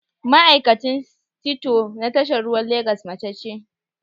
Ma'aikacin sito na tashar ruwan Legas mace ce